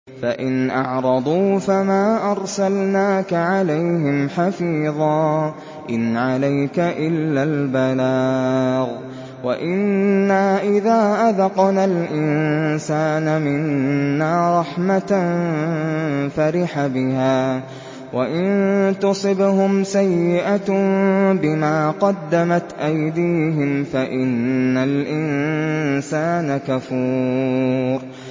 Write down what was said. فَإِنْ أَعْرَضُوا فَمَا أَرْسَلْنَاكَ عَلَيْهِمْ حَفِيظًا ۖ إِنْ عَلَيْكَ إِلَّا الْبَلَاغُ ۗ وَإِنَّا إِذَا أَذَقْنَا الْإِنسَانَ مِنَّا رَحْمَةً فَرِحَ بِهَا ۖ وَإِن تُصِبْهُمْ سَيِّئَةٌ بِمَا قَدَّمَتْ أَيْدِيهِمْ فَإِنَّ الْإِنسَانَ كَفُورٌ